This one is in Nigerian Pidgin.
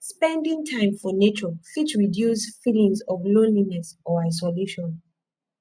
spending time for nature fit reduce feelings of loneliness or isolation